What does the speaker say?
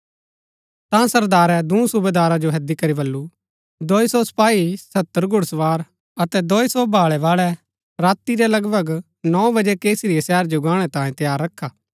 ता सरदारै दूँ सूबेदारा जो हैदी करी बल्लू दोई सौ सपाई सत्तर घुड़सवार अतै दोई सौ भालै बाळै राती रै लगभग नौ बजै कैसरिया शहर जो गाणै तांयें तैयार रखा